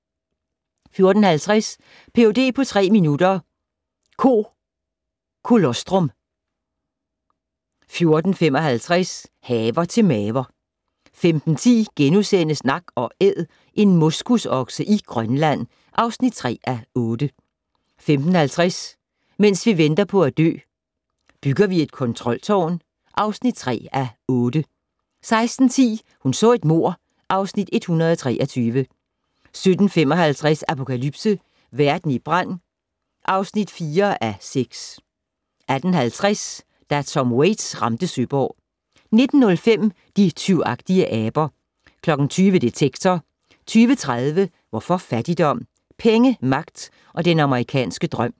14:50: Ph.d. på tre minutter - Ko colostrum 14:55: Haver til maver 15:10: Nak & Æd - en moskusokse i Grønland (3:8)* 15:50: Mens vi venter på at dø - Bygger vi et kontroltårn (3:8) 16:10: Hun så et mord (Afs. 123) 17:55: Apokalypse - verden i brand (4:6) 18:50: Da Tom Waits ramte Søborg 19:05: De tyvagtige aber 20:00: Detektor 20:30: Hvorfor fattigdom? - Penge, magt og den amerikanske drøm